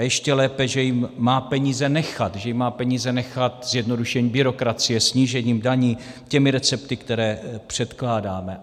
A ještě lépe, že jim má peníze nechat, že jim má peníze nechat zjednodušením byrokracie, snížením daní, těmi recepty, které předkládáme.